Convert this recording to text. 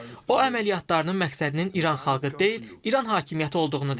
O əməliyyatlarının məqsədinin İran xalqı deyil, İran hakimiyyəti olduğunu dedi.